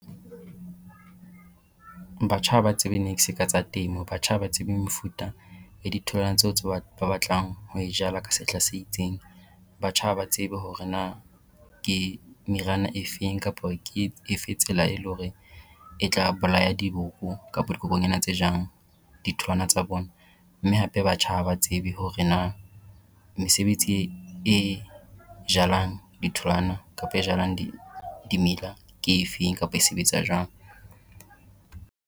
Batjha ha ba tsebe niks ka tsa temo, batjha ha ba tsebe mefuta ya ditholwana tseo tse ba batlang ho e jala ka sehla se itseng. Batjha ha ba tsebe hore na ke meriana efeng kapa ke efe tsela e le hore e tla bolaya diboko kapo dikokonyana tse jang ditholwana tsa bona. Mme hape batjha ha ba tsebe hore na mesebetsi e jalang ditholwana kapa e jalang dimela ke efeng kapa e sebetsa jwang.